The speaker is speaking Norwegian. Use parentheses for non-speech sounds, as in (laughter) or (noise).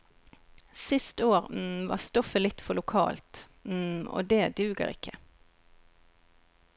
Sist år (hesitation) var stoffet litt for lokalt, (hesitation) og det duger ikke.